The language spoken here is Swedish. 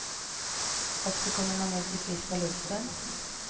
Och så kommer man ut i friska luften.